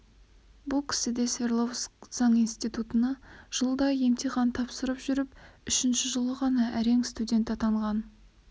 бұл кісі де свердловск заң институтына жылда емтихан тапсырып жүріп үшінші жылы ғана әрең студент атанған